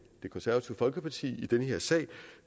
det konservative folkeparti i den her sag